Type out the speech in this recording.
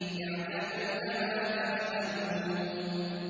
يَعْلَمُونَ مَا تَفْعَلُونَ